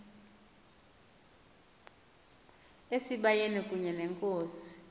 esibayeni kunye nenkosi